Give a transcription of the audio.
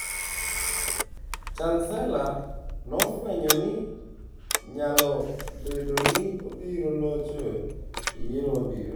Chansela nofwenyo ni nyalo bedo ni obiro locho e yiero mabiro.